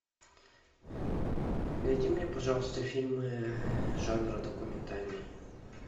найди мне пожалуйста фильмы жанра документальный